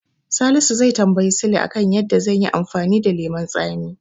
Salisu zai tambayi Sule a kan yadda zanyi amfani da lemon tsami.